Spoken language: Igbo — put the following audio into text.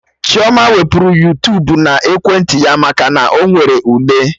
Chioma wepụrụ Yuutubuna ekwentị ya maka na Ọ nwere ule